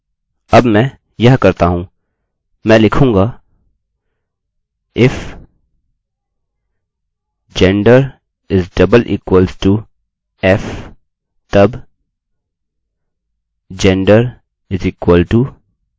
अब मैं यह करता हूँ मैं लिखूँगा if gender==f तब gender=female